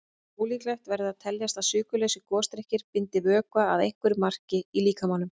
Ólíklegt verður að teljast að sykurlausir gosdrykkir bindi vökva að einhverju marki í líkamanum.